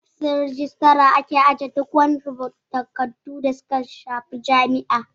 A ofishin rijitara ake ajiye duk wasu takardu na musamman da suka shafi jami'a